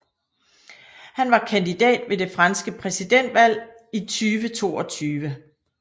Han var kandidat ved det franske præsidentvalg i 2022